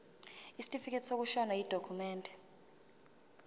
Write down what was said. isitifikedi sokushona yidokhumende